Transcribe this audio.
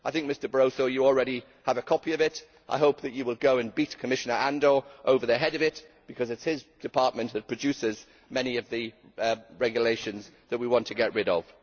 I think Mr Barroso already has a copy of it, and I hope that he will go and beat Commissioner Andor over the head with it, because it is his department that produces many of the regulations that we want to get rid of.